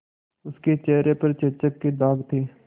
उसके चेहरे पर चेचक के दाग थे